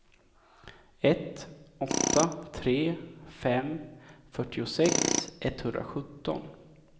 ett åtta tre fem fyrtiosex etthundrasjutton